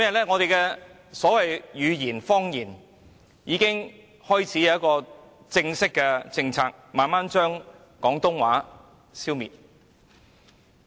本地語言和方言已開始出現一套正式的政策，以期逐漸將廣東話消滅。